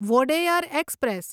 Wodeyar express